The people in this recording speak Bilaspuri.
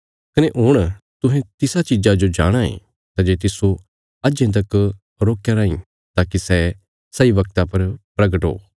कने हुण तुहें तिसा चीज़ा जो जाणाँ ये सै जे तिस्सो अजें तक रोकया राईं ताकि सै सही वगता पर प्रगट हो